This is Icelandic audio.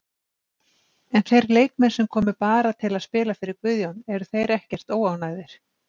En þeir leikmenn sem komu bara til að spila fyrir Guðjón, eru þeir ekkert óánægðir?